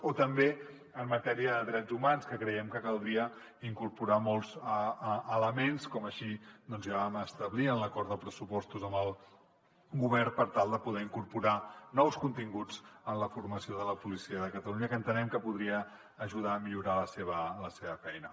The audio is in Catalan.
o també en matèria de drets humans que creiem que caldria incorporar hi molts elements com així ja vam establir en l’acord de pressupostos amb el govern per tal de poder incorporar nous continguts en la formació de la policia de catalunya que entenem que podrien ajudar a millorar la seva feina